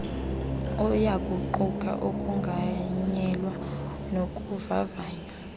uyakuquka ukonganyelwa nokuvavanywa